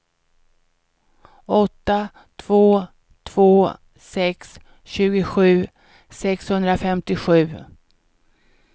åtta två två sex tjugosju sexhundrafemtiosju